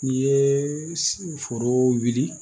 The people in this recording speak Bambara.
N'i ye foro wuli